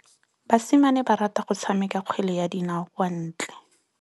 Basimane ba rata go tshameka kgwele ya dinaô kwa ntle.